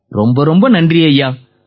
ரொம்ப ரொம்ப நன்றி ஐயா